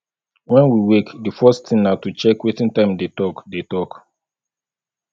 when we wake di first thing na to check wetin time dey talk dey talk